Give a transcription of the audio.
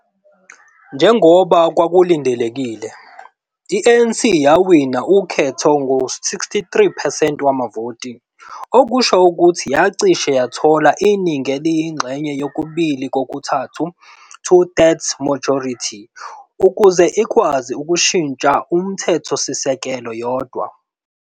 Njengoba kwakulindelekile, i-ANC yawina ukhetho ngama 63 percent wamavoti, okusho ukuthi yacishe yathola iningi eliyinxenye yokubili-kokuthathu, two-thirds majority, ukuze ikwazi ukushintsha umthethosisekelo yodwa.